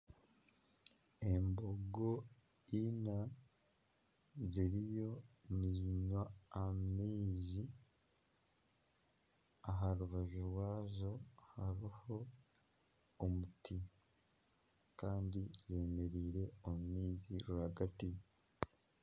Embogo ina ziriyo nizinywa amaizi aha rubaju rwazo hariho omuti Kandi zemereire omu maizi rwagati.